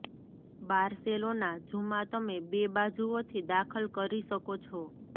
Barcelona ઝૂમાં તમે બે બાજુઓથી દાખલ કરી શકો છો